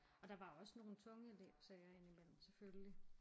Og der var også nogle tunge elevsager ind i mellem selvfølgelig